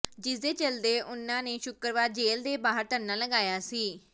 ਜਿਸਦੇ ਚਲਦੇ ਉਨ੍ਹਾਂ ਨੇ ਸ਼ੁੱਕਰਵਾਰ ਜੇਲ੍ਹ ਦੇ ਬਾਹਰ ਧਰਨਾ ਲਗਾਇਆ ਸੀ